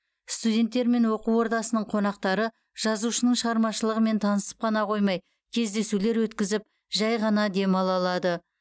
студенттер мен оқу ордасының қонақтары жазушының шығармашылығымен танысып қана қоймай кездесулер өткізіп жәй ғана демала алады